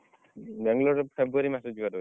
ବାଙ୍ଗଲୋର ଏଇ February ମାସରେ ଯିବାରେ ଅଛି।